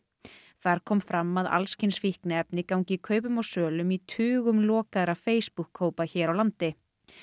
þar kom fram að alls kyns fíkniefni gangi kaupum og sölum í tugum lokaðra Facebookhópa hér á landi